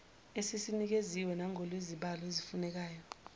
esisinikeziwe nangokwezibalo ezifunekayo